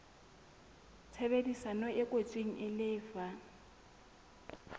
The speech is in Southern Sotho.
tshebedisano e kwetsweng e lefa